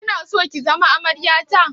Kina so ki zama amarya ta?